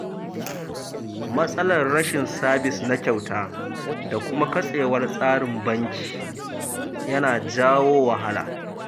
Matsalar rashin sabis na kyauta da kuma katsewar tsarin banki yana jawo wahala.